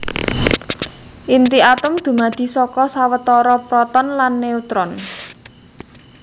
Inti atom dumadi saka sawetara proton lan neutron